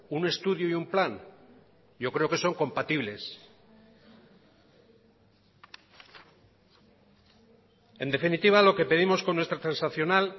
un estudio y un plan yo creo que son compatibles en definitiva lo que pedimos con nuestra transaccional